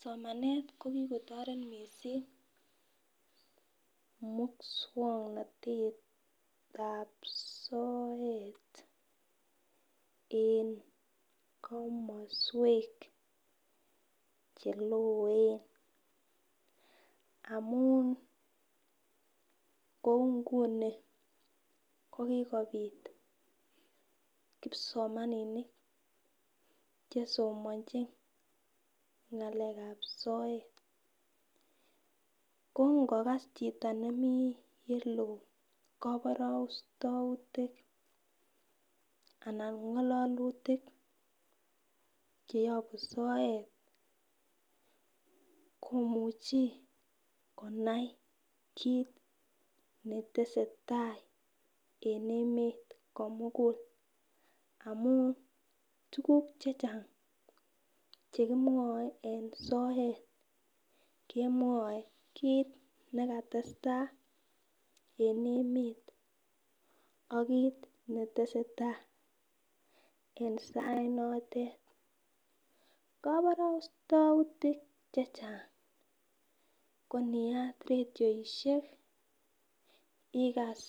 Somanet ko kikotoret missing muswoknotetab soet en komoswek cheloen amun kou nguni ko kikopit kipsomaninik chesomonchin ngalekab soet ko ngolas chito nemii oleloo koborostoutik anan ko ngololutik cheyobu soet komuchi konai kit netesetai en emet komugul amun tukuk chechang chekimwoe en soet kemwoe kit nekatestai en emet ak kit netesetai en sait notet. Koborostoutik chechang ko niat radioishek ikas